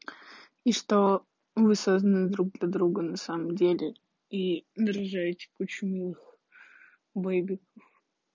и что вы созданы друг для друга на самом деле и нарожаете кучу малых бэйби